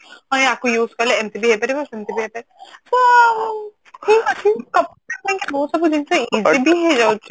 ଆମେ ଆକୁ use କଲେ ଏମତି ବି ହେଇପାରିବ ସେମତି ହେଇପାରିବ ତ ଠିକ ଅଛି computer ପାଇଁ କି ସବୁ ଜିନିଷ easy ବି ହେଇଯାଉଛି